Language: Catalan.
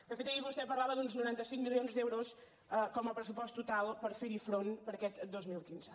de fet ahir vostè parlava d’uns noranta cinc milions d’euros com a pressupost total per fer hi front per a aquest dos mil quinze